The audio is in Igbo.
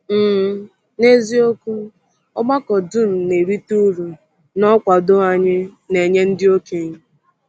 um N’eziokwu, ọgbakọ dum na-erite uru n’ọkwado anyị na-enye ndị okenye.